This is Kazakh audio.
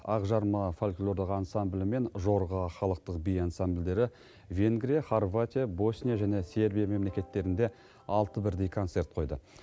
ақжарма фольклорлық ансамблі мен жорға халықтық би ансамбльдері венгрия хорватия босния және сербия мемлекеттерінде алты бірдей концерт қойды